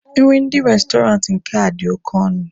Nri ndị Restọrantị nke a dị oke ọnụ.